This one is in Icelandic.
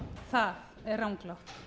það er ranglátt